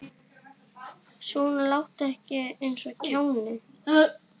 Svona láttu ekki eins og kjáni.